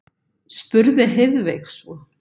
spurði Heiðveig svo.